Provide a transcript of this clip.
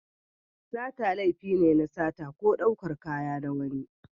Sata laifi ne na sata ko ɗaukar kaya na wani.